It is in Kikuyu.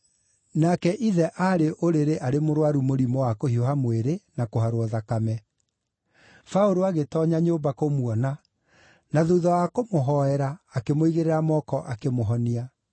Nake ithe aarĩ ũrĩrĩ arĩ mũrũaru mũrimũ wa kũhiũha mwĩrĩ na kũharwo thakame. Paũlũ agĩtoonya nyũmba kũmuona, na thuutha wa kũmũhoera akĩmũigĩrĩra moko akĩmũhonia.